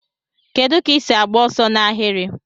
Kedu ka isi agba ọsọ na ahiri?